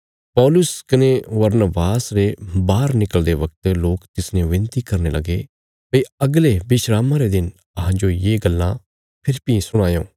पौलुस कने बरनबास रे बाहर निकल़दे बगत लोक तिसने विनती करने लगे भई अगले विस्रामा रे दिन अहां जो ये गल्लां फेरी बी सुणायो